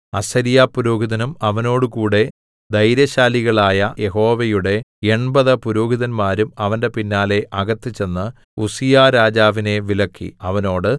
അസര്യാ പുരോഹിതനും അവനോടുകൂടെ ധൈര്യശാലികളായ യഹോവയുടെ എൺപത് പുരോഹിതന്മാരും അവന്റെ പിന്നാലെ അകത്ത് ചെന്ന് ഉസ്സീയാ രാജാവിനെ വിലക്കി അവനോട്